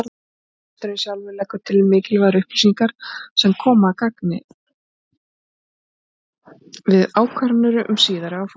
Reksturinn sjálfur leggur til mikilvægar upplýsingar sem koma að gagni við ákvarðanir um síðari áfanga.